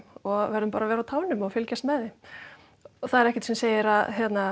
og verðum bara að vera á tánum og fylgjast með þeim það er ekkert sem segir að